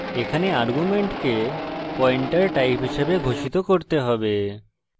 এখানে arguments pointer type হিসাবে ঘোষিত করতে হবে